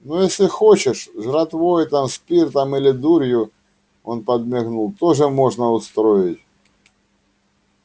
но если хочешь жратвой там спиртом или дурью он подмигнул тоже можно устроить